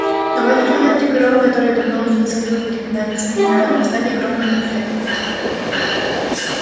но в этот момент три коровы которые давно уже тоскливо переминались с ноги на ногу стали громко мычать